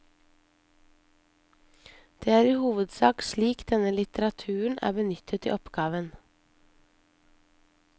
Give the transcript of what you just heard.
Det er i hovedsak slik denne litteraturen er benyttet i oppgaven.